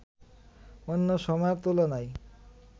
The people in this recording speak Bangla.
অন্য সময়ের তুলনায়